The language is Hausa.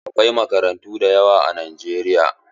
Akwai makarantu da yawa a Najeriya.